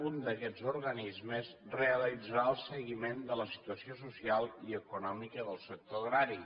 un d’aquests organismes realitzarà el seguiment de la situació social i econòmica del sector agrari